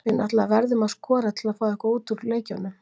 Við náttúrulega verðum að skora til að fá eitthvað út úr leikjunum.